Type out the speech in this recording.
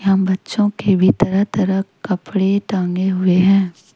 यहां बच्चों के भी तरह तरह कपड़े टंगे हुए हैं।